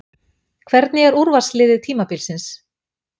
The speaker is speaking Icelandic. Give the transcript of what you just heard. Hvernig er úrvalsliðið tímabilsins?